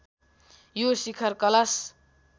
यो शिखर कलश